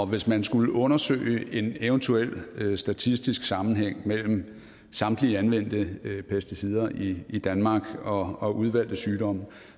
hvis man skulle undersøge en eventuel statistisk sammenhæng mellem samtlige anvendte pesticider i i danmark og og udvalgte sygdomme